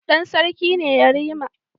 Dan sarki ne yarima